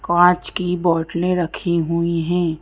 कांच की बोटले रखी हुई है।